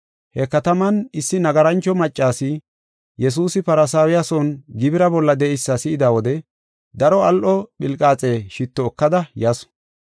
He kataman issi nagarancho maccasi, Yesuusi Farisaawiya son gibira bolla de7eysa si7ida wode daro al7o philqaaxe shitto ekada yasu.